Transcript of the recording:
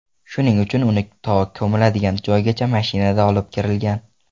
Shuning uchun uni to ko‘miladigan joygacha mashinada olib kirilgan.